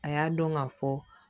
A y'a dɔn ka fɔ